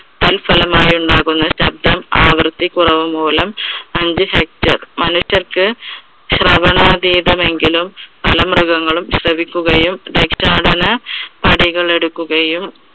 തൽഫലമായി ഉണ്ടാകുന്ന ശബ്‌ദം ആവർത്തിക്കുന്നത് മൂലം അഞ്ച് sector മനുഷ്യർക്ക് ശ്രവണാതീതം എങ്കിലും പല മൃഗങ്ങളും ശ്രവിക്കുകയും എടുക്കുകയും